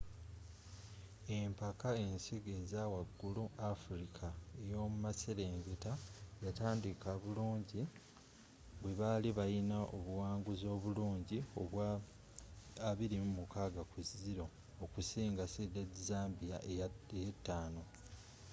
empaka ensigo eza wagulu africa ey'omu maserengeta yatandika bulungi bwe baali balina obuwanguzi obulungi obwa 26-00 okusinga seeded zambia eya 5